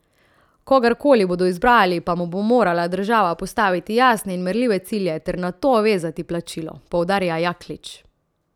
Kogarkoli bodo izbrali, pa mu bo morala država postaviti jasne in merljive cilje ter na to vezati plačilo, poudarja Jaklič.